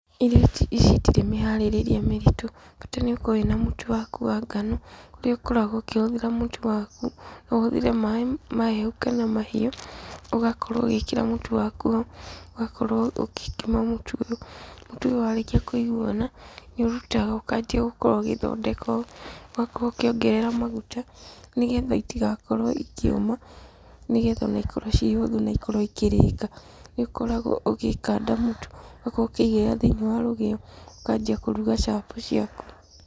Irio ta ici itirĩ mĩharĩrĩrie mĩritũ. Bata nĩ ũkorwo wĩ na mũtu waku wa ngano, ũrĩa ũkoragwo ũkĩhũthĩra mũtu waku, no ũhũthĩre maaĩ mahehu kana mahiũ, ũgakorwo ũgĩkĩra mũtu waku ho, ũgakorwo ũgĩkima mũtu ũyũ. Mũtu ũyũ warĩkia kwĩguana, nĩ ũrutaga ũkambia gũkorwo ũgĩthondeka ũũ, ũgakorwo ũkĩongerera maguta, nĩgetha itigakorwo ikĩũma nĩgetha ona ikorwo ciĩ hũthũ na ikorwo ikĩrĩka. Nĩ ũkoragwo ũgĩkanda mũtu, ũgakorwo ũkĩigĩrĩra thĩiniĩ wa rũgĩo, ũkanjia kũruga chapo ciaku.